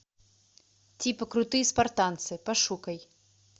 типа крутые спартанцы пошукай